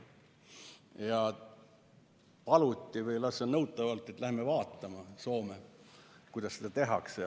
Ja paluti või lausa nõuti, et me läheks vaatama Soome, kuidas seda tehakse.